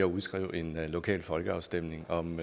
udskrive en lokal folkeafstemning om